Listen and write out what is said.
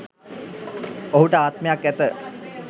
ඔහුට ආත්මයක් ඇත.